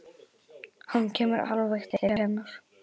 Hann kemur alveg til hennar.